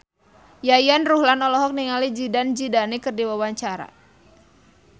Yayan Ruhlan olohok ningali Zidane Zidane keur diwawancara